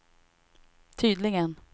tydligen